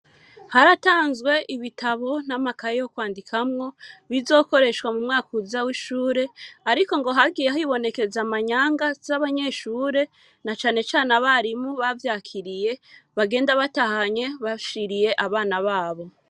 Haratanzwe, ibitabo n'amakaye yo kwandikamwo, bizokoreshwa mu mwaka uza w'ishure; ariko, ngo hagiye hibonekeza, amanyanga z'abanyeshure, na cane cane abarimu, bavyakiriye, bagenda batahanye, bashiriye, abana babo.